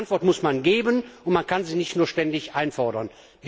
Die Antwort muss man geben, man kann sie nicht nur ständig einfordern.